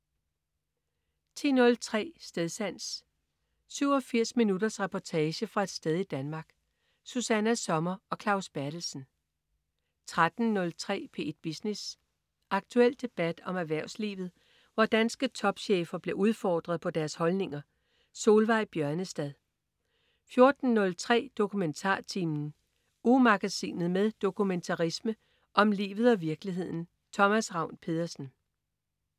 10.03 Stedsans. 87 minutters reportage fra et sted i Danmark. Susanna Sommer og Claus Berthelsen 13.03 P1 Business. Aktuel debat om erhvervslivet, hvor danske topchefer bliver udfordret på deres holdninger. Solveig Bjørnestad 14.03 DokumentarTimen. Ugemagasinet med dokumentarisme om livet og virkeligheden. Thomas Ravn-Pedersen